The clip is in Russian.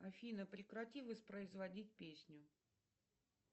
афина прекрати воспроизводить песню